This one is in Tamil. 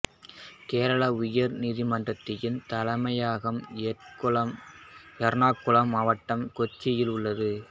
கேரள உயர் நீதிமன்றத்தின் தலைமையகம் எர்ணாகுளம் மாவட்டம் கொச்சியில் உள்ளது